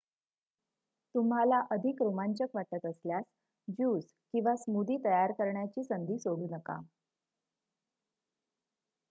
तुम्हाला अधिक रोमांचक वाटत असल्यास ज्यूस किंवा स्मूदी तयार करण्याची संधी सोडू नका